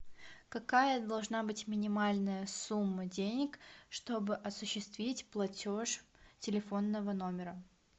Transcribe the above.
какая должна быть минимальная сумма денег чтобы осуществить платеж телефонного номера